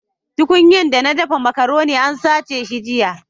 Tuƙunyan dana daffa macaroni an satta shi jiya.